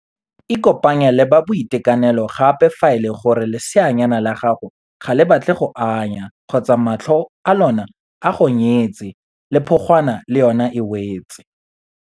Ikopanye le ba boitekanelo gape fa e le gore leseanyana la gago ga le batle go anya kgotsa matlho a lona a gonyetse le phogwana le yona e wetse.